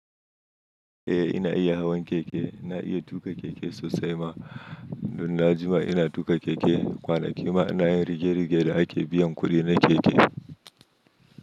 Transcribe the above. Eh ina iya hawan keke, ina iya tuka keke sosai ma dunna jima ina tuƙa keke kwanaki ma ina yin rige-rige da ake biyan kuɗi na keke.